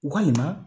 Walima